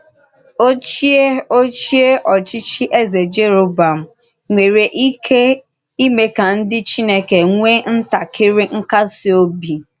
Òchíè Òchíè òchí̄chí̄ Ézè Jèròbọ̀àm nwerè íké ímè ka ndí Chìnèkè nwèè ntàkírí nkásí òbì.